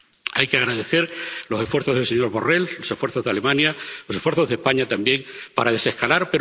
Hay que agradecer los esfuerzos del señor Borrell, los esfuerzos de Alemania, los esfuerzos de España, también, para desescalar.